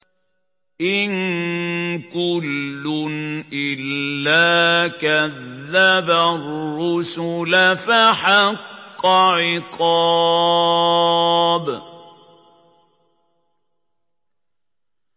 إِن كُلٌّ إِلَّا كَذَّبَ الرُّسُلَ فَحَقَّ عِقَابِ